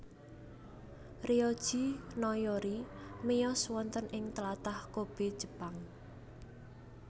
Ryoji Noyori miyos wonten ing tlatah Kobe Jepang